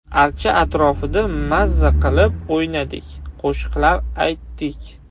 Archa atrofida maza qilib o‘ynadik, qo‘shiqlar aytdik.